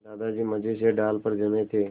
दादाजी मज़े से डाल पर जमे थे